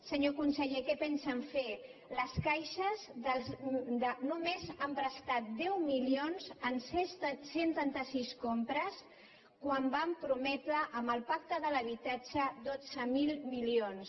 senyor conseller què pensen fer les caixes només han prestat deu milions en cent i trenta sis compres quan van prometre amb el pacte de l’habitatge dotze mil milions